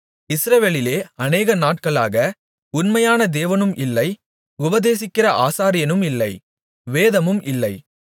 இஸ்ரவேலிலே அநேக நாட்களாக உண்மையான தேவனும் இல்லை உபதேசிக்கிற ஆசாரியனும் இல்லை வேதமும் இல்லை